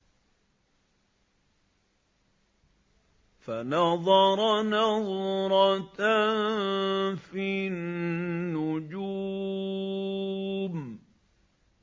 فَنَظَرَ نَظْرَةً فِي النُّجُومِ